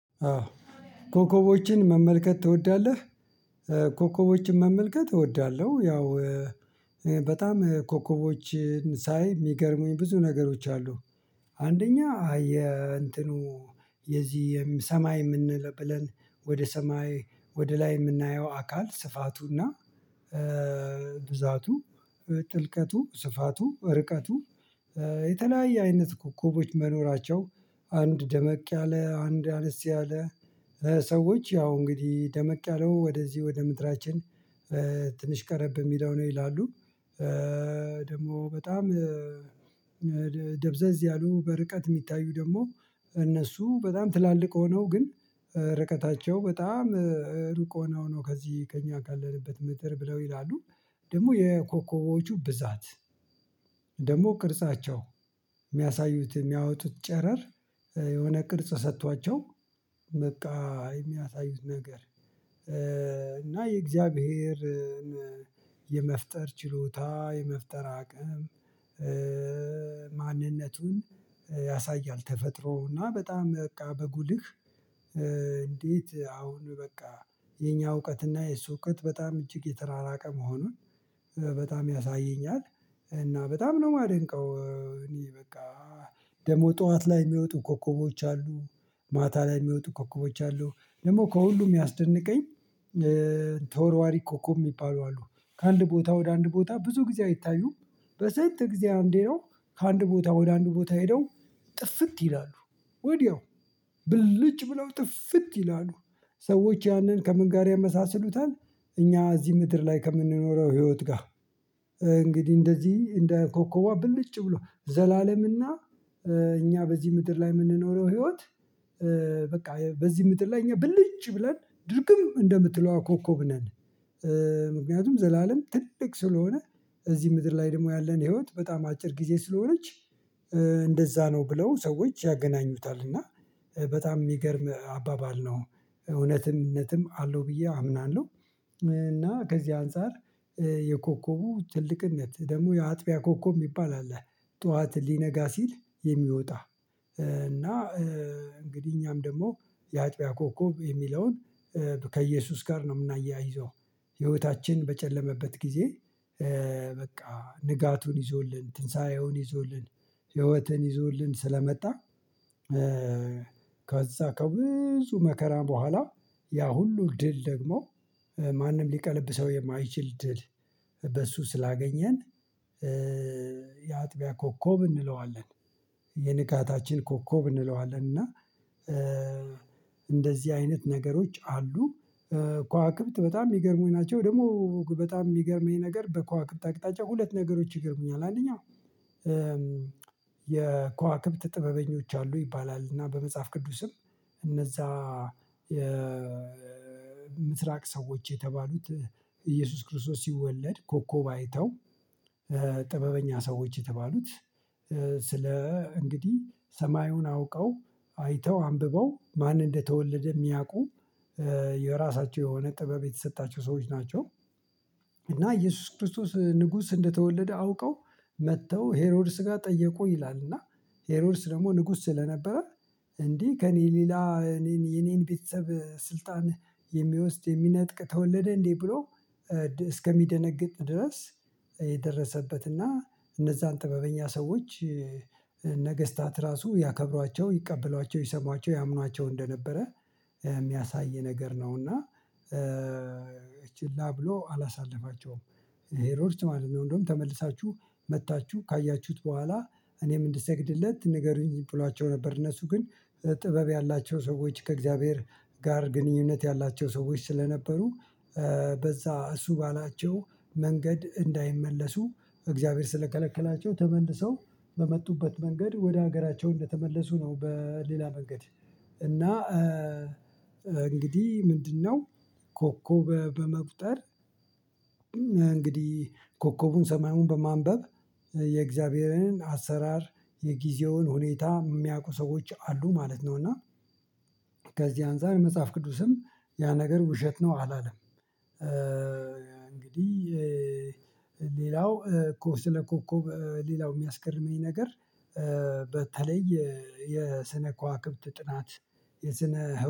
አዎ ኮከቦችን መመልከት ትወዳለህ? ኮከቦችን መመልከት እወዳለሁ። ያው በጣም ኮከቦችን ሳይ የሚገርሙኝ ብዙ ነገሮች አሉ። አንደኛ አየ እንትኑ የዚህ ሰማይ የምንለብለን ወደ ሰማይ ወደ ላይ የምናየው አካል ስፋቱና ብዛቱ ጥልቀቱ ስፋቱ ርቀቱ የተለያየ አይነት ኮከቦች መኖራቸው አንድ ደመቅ ያለ አንድ አነስ ያለ ሰዎች ያው እንግዲህ ደመቅ ያለው ወደዚህ ወደ ምድራችን። ትንሽ ቀረብ የሚለው ነው ይላሉ። ደግሞ በጣም ደብዘዝ ያሉ በርቀት የሚታዩ ደግሞ እነሱ በጣም ትላልቅ ሆነው ግን ርቀታቸው በጣም ሩቅ ሆነው ነው ከዚህ ከእኛ ካለንበት ምድር ብለው ይላሉ። ደግሞ የኮከቦቹ ብዛት ደግሞ ቅርጻቸው የሚያሳዩት የሚያወጡት ጨረር የሆነ ቅርጽ ሰጥቷቸው በቃ የሚያሳዩት ነገር። እና የእግዚአብሔርን የመፍጠር ችሎታ የመፍጠር አቅም ማንነቱን ያሳያል። ተፈጥሮ እና በጣም በቃ በጉልህ እንዴት አሁን በቃ የኛ እውቀት እና የሱ እውቀት በጣም እጅግ የተራራቀ መሆኑን በጣም ያሳየኛል። እና በጣም ነው የማደንቀው። እኔ በቃ ደግሞ ጠዋት ላይ የሚወጡ ኮከቦች አሉ። ማታ ላይ የሚወጡ ኮከቦች አሉ ደግሞ ከሁሉም ያስደነቀኝ። ተወርዋሪ ኮከብ የሚባሉ አሉ ከአንድ ቦታ ወደ አንድ ቦታ ብዙ ጊዜ አይታዩም። በስንት ጊዜ አንዴ ነው? ከአንድ ቦታ ወደ አንድ ቦታ ሄደው ጥፍት ይላሉ ወዲያው ብልጭ ብለው ጥፍት ይላሉ። ሰዎች ያንን ከምን ጋር ያመሳስሉታል እኛ እዚህ ምድር ላይ ከምንኖረው ህይወት ጋር። እንግዲህ እንደዚህ እንደ ኮከቧ ብልጭ ብሎ ዘላለምና። እኛ በዚህ ምድር ላይ የምንኖረው ህይወት በቃ በዚህ ምድር ላይ እኛ ብልጭ ብለን ድርግም እንደምትለዋ ኮከብ ነን። ምክንያቱም ዘላለም ትልቅ ስለሆነ። እዚህ ምድር ላይ ደግሞ ያለን ህይወት በጣም አጭር ጊዜ ስለሆነች። እንደዛ ነው ብለው ሰዎች ያገናኙታል። እና በጣም የሚገርም አባባል ነው። እውነትም እውነትም አለው ብዬ አምናለሁ። እና ከዚህ አንፃር የኮከቡ ትልቅነት ደግሞ የአጥቢያ ኮከብ የሚባል አለ። ጠዋት ሊነጋ ሲል የሚወጣ እና እንግዲህ እኛም ደግሞ የአጥቢያ ኮከብ የሚለውን ከኢየሱስ ጋር ነው የምናያይዘው ህይወታችን በጨለመበት ጊዜ በቃ ንጋቱን ይዞልን ትንሳኤውን ይዞልን ህይወትን ይዞልን ስለመጣ። ከዛ ከብዙ መከራ በኋላ ያ ሁሉ ድል ደግሞ ማንም ሊቀለብሰው የማይችል ድል በሱ ስላገኘን። የአጥቢያ ኮከብ እንለዋለን። የንቃታችን ኮከብ እንለዋለን እና እንደዚህ አይነት ነገሮች አሉ። ከዋክብት በጣም የሚገርሙኝ ናቸው። ደግሞ በጣም የሚገርመኝ ነገር በከዋክብት አቅጣጫ ሁለት ነገሮች ይገርሙኛል። አንደኛ የከዋክብት ጥበበኞች አሉ ይባላል እና በመጽሐፍ ቅዱስም እነዛ የምስራቅ ሰዎች የተባሉት ኢየሱስ ክርስቶስ ሲወለድ ኮኮብ አይተው ጥበበኛ ሰዎች የተባሉት ስለ እንግዲህ ሰማዩን አውቀው አይተው አንብበው ማን እንደተወለደ የሚያውቁ የራሳቸው የሆነ ጥበብ የተሰጣቸው ሰዎች ናቸው። እና ኢየሱስ ክርስቶስ ንጉስ እንደተወለደ አውቀው መጥተው ሄሮድስ ጋር ጠየቁ ይላል። እና ሄሮድስ ደግሞ ንጉስ ስለነበረ እንዴ ከእኔ ሌላ እኔን የኔን ቤተሰብ ስልጣን የሚወስድ የሚነጥቅ ተወለደ እንዴ ብሎ እስከሚደነግጥ ድረስ የደረሰበትና እነዛን ጥበበኛ ሰዎች ነገስታት ራሱ ያከብሯቸው ይቀበሏቸው ይሰሟቸው ያምኗቸው እንደነበረ የሚያሳይ ነገር ነውና ችላ ብሎ አላሳለፋቸውም። ሄሮድስ ማለት ነው እንደውም ተመልሳችሁ መጥታችሁ ካያችሁት በኋላ እኔም እንድሰግድለት ንገሩኝ ብሏቸው ነበር። እነሱ ግን ጥበብ ያላቸው ሰዎች ከእግዚአብሔር ጋር ግንኙነት ያላቸው ሰዎች ስለነበሩ በዛ እሱ ባላቸው መንገድ እንዳይመለሱ እግዚአብሔር ስለከለከላቸው ተመልሰው በመጡበት መንገድ ወደ ሀገራቸው እንደተመለሱ ነው። በሌላ መንገድ እና እንግዲህ ምንድነው? ኮከብ በመቁጠር እንግዲህ ኮከቡን ሰማዩን በማንበብ የእግዚአብሔርን አሰራር የጊዜውን ሁኔታ የሚያውቁ ሰዎች አሉ ማለት ነው። እና ከዚህ አንፃር መጽሐፍ ቅዱስም ያ ነገር ውሸት ነው አላለም። እንግዲህ ሌላው ኮ ስለ ኮኮብ ሌላው የሚያስገርመኝ ነገር። በተለይ የስነ ከዋክብት ጥናት የስነ